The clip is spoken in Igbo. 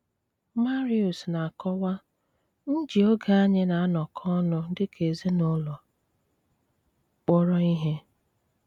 Máriúsz na-ákọ́wá: “ m jí ógé ányị na-ánọkọ́ óún dị́ ká ézínùlọ́ kpụrò íhé.